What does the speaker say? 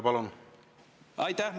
Aitäh!